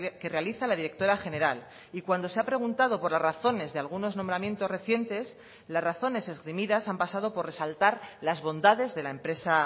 que realiza la directora general y cuando se ha preguntado por las razones de algunos nombramientos recientes las razones esgrimidas han pasado por resaltar las bondades de la empresa